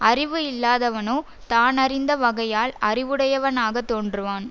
அறிவு இல்லாதவனோ தான் அறிந்த வகையால் அறிவுடையவனாகத் தோன்றுவான்